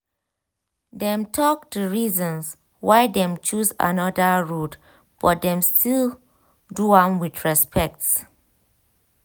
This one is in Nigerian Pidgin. dem talk di reasons why dem choose another road but dem still do am with respect.